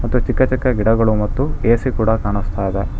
ಚಿಕ್ಕ ಚಿಕ್ಕ ಗಿಡಗಳು ಮತ್ತು ಎ_ಸಿ ಕೂಡ ಕಾಣಿಸ್ತಾ ಇದೆ.